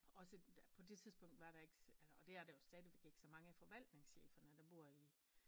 Og på det tidspunkt var der ikke altså og det er der jo stadigvæk ikke så mange af forvaltningscheferne der bor i